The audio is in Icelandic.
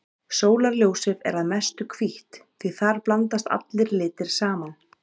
Sólarljósið er að mestu hvítt því þar blandast allir litir saman.